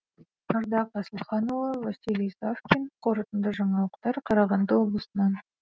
ардақ асылханұлы василий савкин қорытынды жаңалықтар қарағанды облысынан